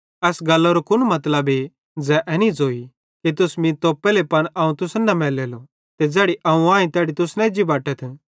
एस गल्लरो कुन मतलबे ज़ै एनी ज़ोई कि तुस मीं तोप्पेले पन अवं तुसन न मैलेलो ते ज़ैड़ी अवं आईं तैड़ी तुस न एज्जी बटतथ